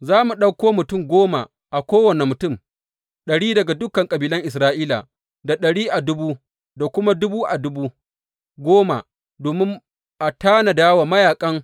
Za mu ɗauko mutum goma a kowane mutum ɗari daga dukan kabilan Isra’ila, da ɗari a dubu, da kuma dubu a dubu goma, domin a tanada wa mayaƙan.